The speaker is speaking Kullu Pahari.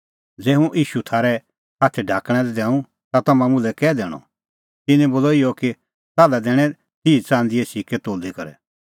ज़ै हुंह ईशू थारै हाथै ढाकणैं दैंऊं ता तम्हां मुल्है कै दैणअ तिन्नैं बोलअ इहअ कि ताल्है दैणैं तिह च़ंदीए सिक्कै तोली करै